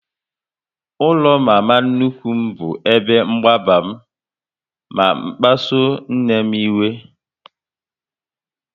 Ụlọ mama nnukwu m bụ ebe mgbagba m na kpasuo nne m iwe